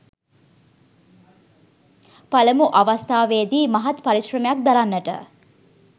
පළමු අවස්ථාවේදී මහත් පරිශ්‍රමයක් දරන්නට